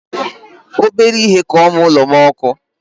Obere ihe ka ọ mụọ ụlo m ọkụ